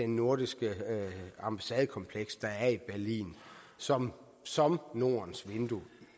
nordiske ambassadekompleks der er i berlin som som nordens vindue